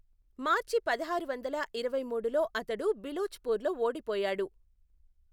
మార్చి పదహారు వందల ఇరవై మూడులో అతడు బిలోచ్పూర్లో ఓడిపోయాడు.